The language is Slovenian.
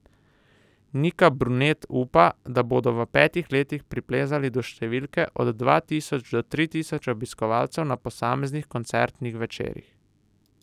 Nika Brunet upa, da bodo v petih letih priplezali do številke od dva tisoč do tri tisoč obiskovalcev na posameznih koncertnih večerih.